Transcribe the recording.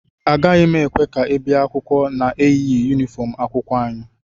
Agaghị m ekwe ka ị bịa akwụkwọ na-eyighị yunifọm akwụkwọ anyị